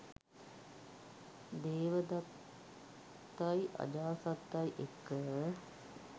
දේවදත්තයි අජාසත්තයි එක්ක.